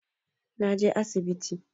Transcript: Na je asibiti